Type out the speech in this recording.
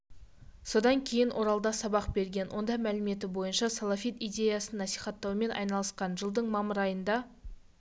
содан кейін оралда сабақ берген онда мәліметі бойынша салафит идеясын насихаттаумен айналысқан жылдың мамыр айында